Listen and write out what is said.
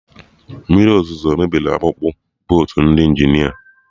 Mmiri ọzụzo mebiri akpụkpụ bootu ndị Injinia